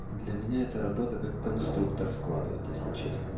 для меня эта работа как конструктор складывать если